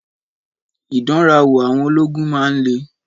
Ìdánrawò àwọn ológun máa ń le.